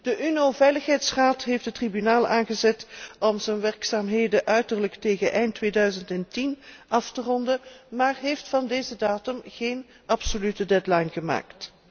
De VN Veiligheidsraad heeft het Tribunaal aangezet om zijn werkzaamheden uiterlijk tegen eind 2010 af te ronden, maar heeft van deze datum geen absolute deadline gemaakt.